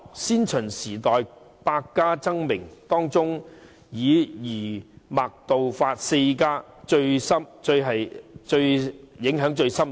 先秦時代，百家爭鳴，當中以儒、墨、道、法四家的影響最為深遠。